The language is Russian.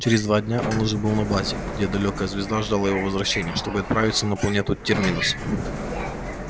через два дня он уже был на базе где далёкая звезда ждала его возвращения чтобы отправиться на планету терминус